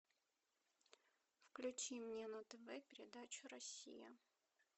включи мне на тв передачу россия